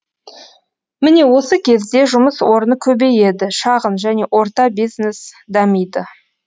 міне осы кезде жұмыс орны көбейеді шағын және орта бизнес дамиды